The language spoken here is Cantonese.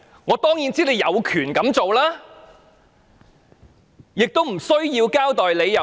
我當然知道政府有權這樣做，亦不用交代理由。